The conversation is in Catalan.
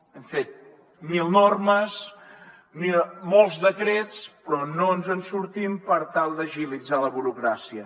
hem fet mil normes molts decrets però no ens en sortim per tal d’agilitzar la burocràcia